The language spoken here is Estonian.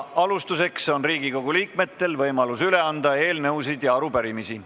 Alustuseks on Riigikogu liikmetel võimalus üle anda eelnõusid ja arupärimisi.